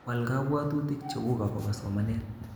Wal kobwotutik cheguk akobo somanet